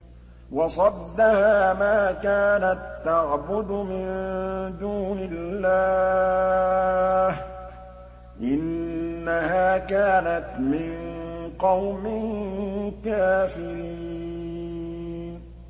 وَصَدَّهَا مَا كَانَت تَّعْبُدُ مِن دُونِ اللَّهِ ۖ إِنَّهَا كَانَتْ مِن قَوْمٍ كَافِرِينَ